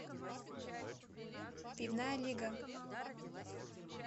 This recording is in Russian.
пивная лига